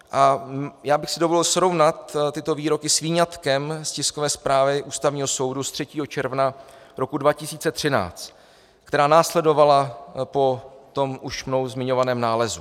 A já bych si dovolil srovnat tyto výroky s výňatkem z tiskové zprávy Ústavního soudu z 3. června roku 2013, která následovala po tom už mnou zmiňovaném nálezu.